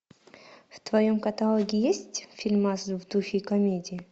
в твоем каталоге есть фильмас в духе комедии